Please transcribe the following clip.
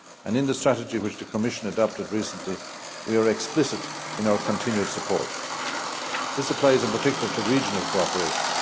In the strategy which the Commission adopted recently, we are explicit in our continued support. This applies in particular to regional cooperation.